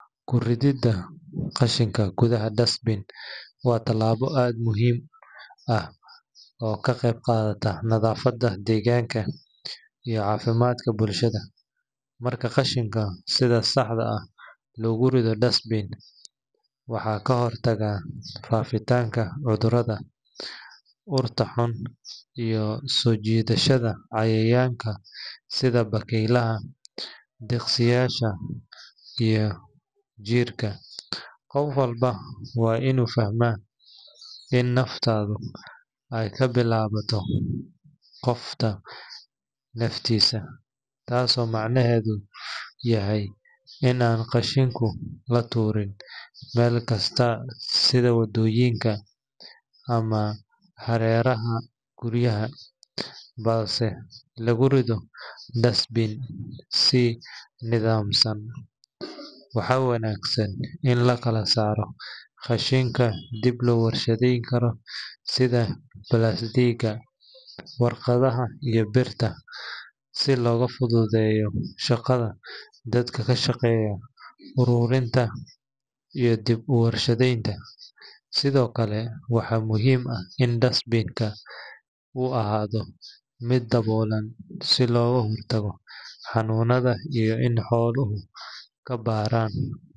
Kurida qashinga kuthaha dustpan wa tilabo aad muhim aah oo kaqabqathatoh nathafada deganka iyo cafimdkaa bulshada marka qashinka sitha saxda lokurithoh dustpin waxakahortaga fafitanga cuthurada urta xuun iyo sojesadatha deganka setha bakeylaha deqsiyasha iyo jirka , qoof walbo wa inu fahamay wa in naftatha kabilawathoh qoofta naftisa oo macnahetho yahay Ina latuurin qashinka melkasta setha wadoyinka amah hareraha kuriyaha balse lakurirhoh dustpin si nathamsan waxawanagsan kalasaroh qashinka lowarshatheykaroh setha balaldegaa warqatha iyo beerta si loga futhutheyoh birta dadka kashaqeeyoh ururinta iyo deb warshtheynta sethokali waxa oo ahaathoh meed dawoolan subloka hortagoh xanunatha kabaran.